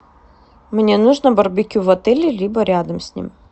мне нужно барбекю в отеле либо рядом с ним